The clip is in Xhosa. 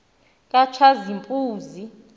katshazimpunzi